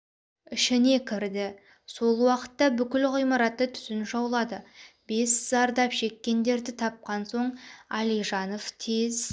ішіне кірді сол уақытта бүкіл ғимаратты түтін жаулады бес зардап шеккендерді тапқан соң алижанов тез